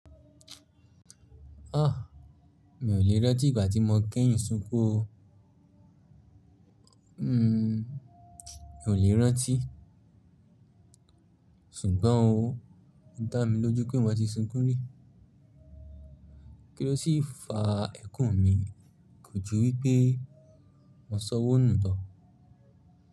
Ah! Mi ò lè rántí ìgbà tí mo kẹ́yìn sukun oo. Hmm, mi ò lè rántí. Ṣùgbọ́n oo, ó dá mi lójú pé mo ti sunkún rí. Kí ló sì fa ẹkùn-un mi ko jú wípé mo sọwónù lo?